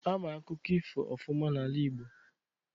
Ama akụkọ ifo ofụma n'ala igbo.